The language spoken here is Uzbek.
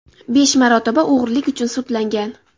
Besh marotaba o‘g‘rilik uchun sudlangan.